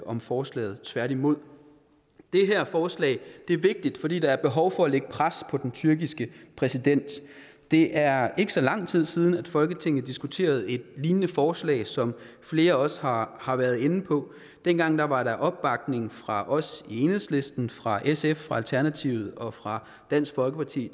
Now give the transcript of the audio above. om forslaget tværtimod det her forslag er vigtigt fordi der er behov for at lægge pres på den tyrkiske præsident det er ikke så lang tid siden at folketinget diskuterede et lignende forslag som flere også har har været inde på dengang var der opbakning fra os i enhedslisten fra sf fra alternativet og fra dansk folkeparti